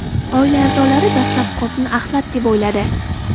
Oila a’zolari dastlab qopni axlat deb o‘yladi.